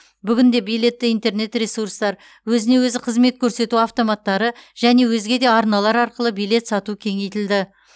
бүгінде билетті интернет ресурстар өзіне өзі қызмет көрсету автоматтары және өзге де арналар арқылы билет сату кеңейтілді